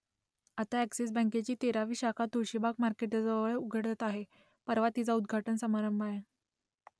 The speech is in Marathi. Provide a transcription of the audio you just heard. आता अ‍ॅक्सिस बँकेची तेरावी शाखा तुळशीबाग मार्केटजवळ उघडते आहे परवा तिचा उद्घाटन समारंभ आहे